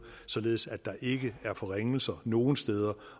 således at der ikke er forringelser nogen steder